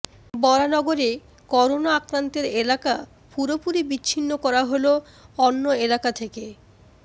বরানগরে corona আক্রান্তের এলাকা পুরোপুরি বিচ্ছিন্ন করা হল অন্য এলাকা থেকে